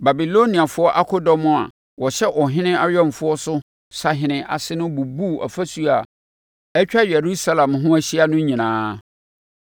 Babiloniafoɔ akodɔm a wɔhyɛ ɔhene awɛmfoɔ so sahene ase no bubuu afasuo a atwa Yerusalem ho ahyia no nyinaa.